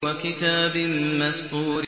وَكِتَابٍ مَّسْطُورٍ